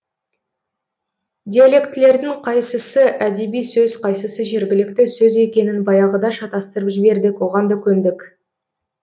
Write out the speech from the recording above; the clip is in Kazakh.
диалектілердің қайсысы әдеби сөз қайсысы жергілікті сөз екенін баяғыда шатастырып жібердік оған да көндік